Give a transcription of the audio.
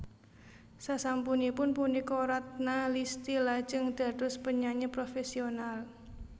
Sasampunipun punika Ratna Listy lajeng dados penyanyi profesional